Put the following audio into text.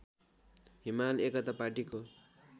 हिमाल एकता पाटीको